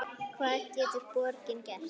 Hvað getur borgin gert?